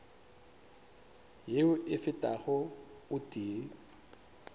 yeo e fetago o tee